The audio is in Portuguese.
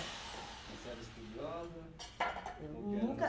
E você era estudiosa? Eu nunca